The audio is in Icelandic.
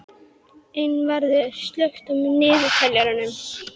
Einvarður, slökktu á niðurteljaranum.